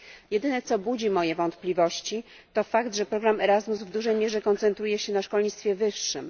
Jedyne co budzi moje wątpliwości, to fakt, że program ERASMUS w dużej mierze koncentruje się na szkolnictwie wyższym.